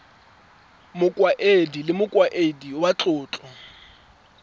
mokaedi le mokaedi wa matlotlo